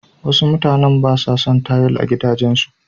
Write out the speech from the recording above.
Wasu mutanen ba sa son tayil a gidajensu.